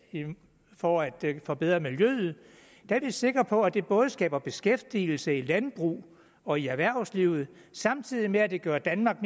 for at forbedre miljøet er vi sikre på at det både skaber beskæftigelse i landbruget og i erhvervslivet samtidig med at det gør danmark